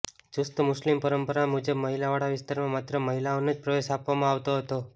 ચુસ્ત મુસ્લિમ પરંપરા મુજબ મહિલાવાળા વિસ્તારમાં માત્ર મહિલાઓને જ પ્રવેશ આપવામાં આવતો હતો